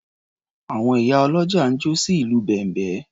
Àwọn ìyá ọlọ́jà ń jó sí ìlù bẹ̀m̀bẹ́.